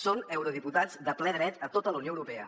són eurodiputats de ple dret a tota la unió europea